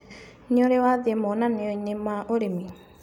Nĩũrĩ wathĩi monanioinĩ ma ũrĩmi.